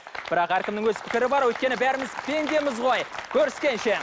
бірақ әркімнің өз пікірі бар өйткені бәріміз пендеміз ғой көріскенше